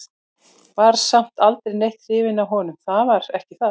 Var samt aldrei neitt hrifin af honum, það var ekki það.